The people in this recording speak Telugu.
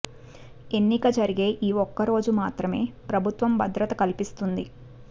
ఎన్నిక జరిగే ఈ ఒక్క రోజు మాత్రమే ప్రభుత్వం భద్రత కల్పిస్తుంది